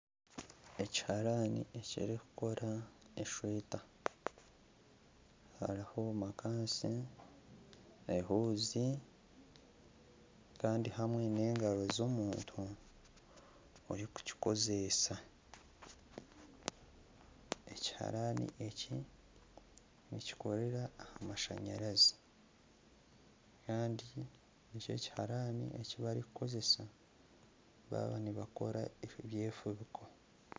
Ekiharani ekirikukora esweta, hariho makaansi ehuuzi kandi hamwe n'engaro z'omuntu orikukikozesa, ekiharani eki nikikoreera aha mashanyarazi kandi eki n'ekiharaani eki barikukozesa baaba nibakora ebyefubiko